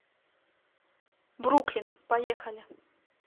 бруклин поехали